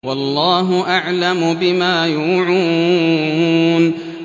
وَاللَّهُ أَعْلَمُ بِمَا يُوعُونَ